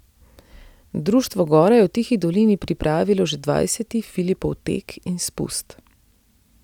Društvo Gora je v Tihi dolini pripravilo že dvajseti Filipov tek in spust.